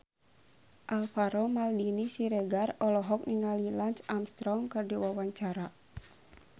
Alvaro Maldini Siregar olohok ningali Lance Armstrong keur diwawancara